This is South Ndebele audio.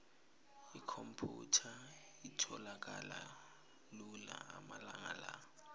ikhomphyutha itholakala lula amalanga la